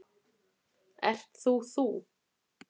Ert þú þú?